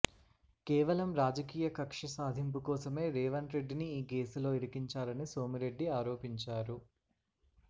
కేవలం రాజకీయ కక్ష సాధింపు కోసమే రేవంత్ రెడ్డిని ఈ కేసులో ఇరికించారని సోమిరెడ్డి ఆరోపించారు